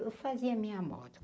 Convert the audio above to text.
Eu fazia minha moda.